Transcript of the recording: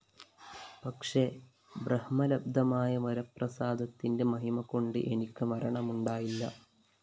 പക്ഷെ ബ്രഹ്മലബ്ധമായ വരപ്രസാദത്തിന്റെ മഹിമകൊണ്ട് എനിക്ക് മരണമുണ്ടായില്ല